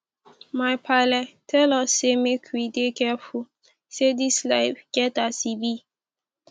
my paale tel us sey make we dey careful say dis life get as e be